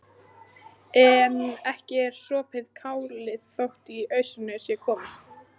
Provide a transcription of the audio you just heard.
En ekki er sopið kálið þótt í ausuna sé komið.